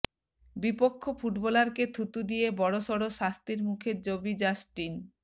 বিপক্ষ ফুটবলারকে থুতু দিয়ে বড় সড় শাস্তির মুখে জবি জাস্টিন